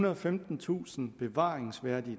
og femtentusind bevaringsværdige